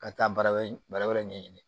Ka taa baara wɛrɛ ɲɛɲini